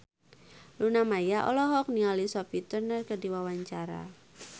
Luna Maya olohok ningali Sophie Turner keur diwawancara